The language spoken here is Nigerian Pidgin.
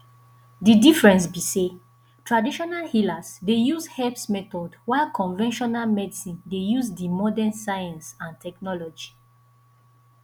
di difference be say traditional healer dey use herbs methods while conventional medicine dey use di modern science and technology